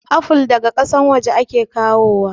Afol daga kasan waje ake kawo wa